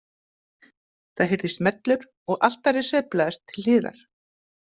Það heyrðist smellur og altarið sveiflaðist til hliðar.